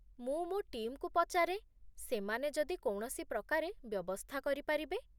ମୁଁ ମୋ ଟିମ୍‌କୁ ପଚାରେ ସେମାନେ ଯଦି କୌଣସି ପ୍ରକାରେ ବ୍ୟବସ୍ଥା କରିପାରିବେ।